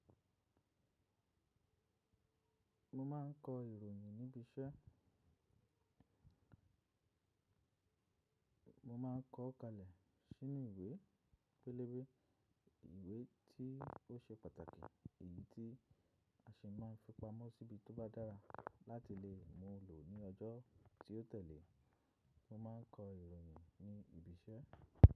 Mo ma ń kọ ìròyìn níbi iṣẹ́. Mo máa n kọ ọ́ kalẹ̀ sínú ìwé, pélébé ìwé tí ó ṣe pàtàkì, èyí tí a ṣe máa fi pamọ́ síbi tó bá dára láti lè mú lò ní ọjọ́ tí ó tẹ̀lé. Mo máa ń kọ ìròyìn ní ibi-iṣẹ́.